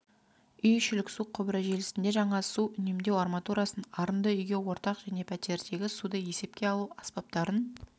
үй ішілік су құбыры желісінде жаңа су үнемдеу арматурасын арынды үйге ортақ және пәтердегі суды есепке алу аспаптарын